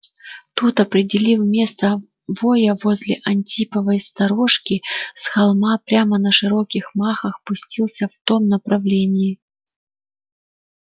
тут определив место воя возле антиповой сторожки с холма прямо на широких махах пустился в том направлении